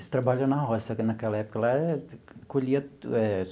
Eles trabalham na roça só que naquela época lá colhia eh.